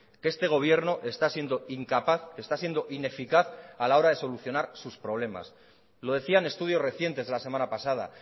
que este gobierno está siendo incapaz está siendo ineficaz a la hora de solucionar sus problemas lo decían estudios recientes de la semana pasada